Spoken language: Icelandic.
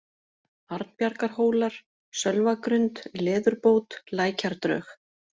Arnbjargarhólar, Sölvagrund, Leðurbót, Lækjardrög